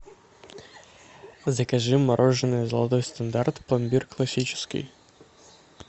закажи мороженое золотой стандарт пломбир классический